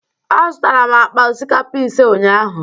Azụtara m akpa osikapa ise ụnyaahụ.